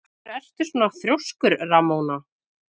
Af hverju ertu svona þrjóskur, Ramóna?